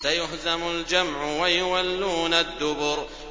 سَيُهْزَمُ الْجَمْعُ وَيُوَلُّونَ الدُّبُرَ